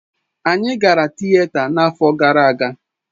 Anyị gara Tịeta n'afọ gara aga.